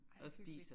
Ej hyggeligt